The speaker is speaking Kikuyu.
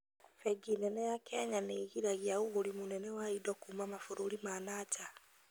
Bengi nene ya Kenya nĩgiragia ũgũri mũnene wa indo kuma mabũrũri ma na nja